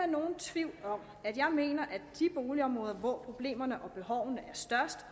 nogen tvivl om at jeg mener at de boligområder hvor problemerne og behovene er størst